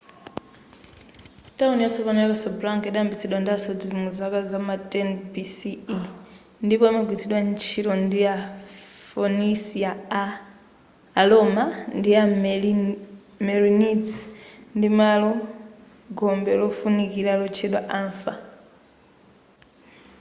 tawuni yatsopano ya casablanca yidayambitsidwa ndi asodzi mu zaka zama 10 bce ndipo imagwilitsidwa ntchito ndi a phoenician a roma ndi a merenids ndi malo gombe lofunikira lotchedwa anfa